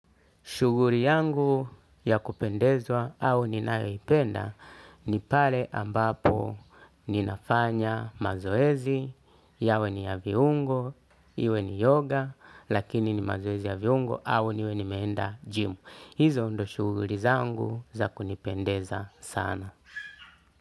Shughuli yangu ya kupendezwa au ninayoipenda ni pale ambapo ninafanya mazoezi, yawe ni ya viungo, iwe ni yoga, lakini ni mazoezi ya viungo au niwe nimeenda gymu. Hizo ndio shughuli zangu za kunipendeza sana.